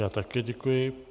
Já také děkuji.